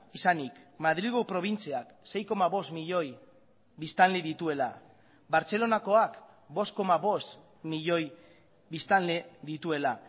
izanik madrilgo probintziak sei koma bost milioi biztanle dituela bartzelonakoak bost koma bost milioi biztanle dituela